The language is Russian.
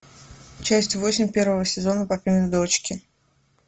часть восемь первого сезона папины дочки